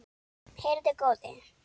Heyrðu góði.